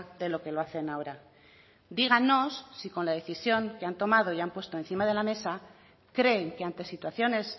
de lo que lo hacen ahora dígannos si con la decisión que han tomado y han puesto encima de la mesa creen que ante situaciones